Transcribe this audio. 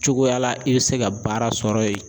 Cogoya la i be se ka baara sɔrɔ yen.